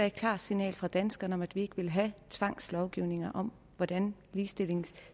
et klart signal fra danskerne om at vi ikke vil have tvangslovgivning om hvordan ligestillingen